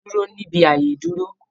Dúró níbi ààyè ìdúró!